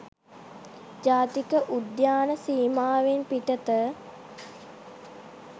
ජාතික උද්‍යාන සීමාවෙන් පිටත